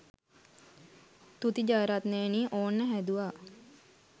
තුති ජයරත්නයෙනි ඕන්න හැදුවා